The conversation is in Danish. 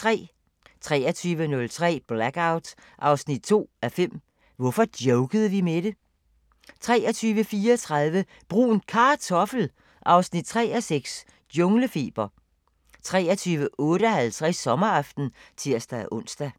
23:03: Blackout 2:5 – Hvorfor jokede vi med det? 23:34: Brun Kartoffel 3:6 – Junglefeber 23:58: Sommeraften (tir-ons)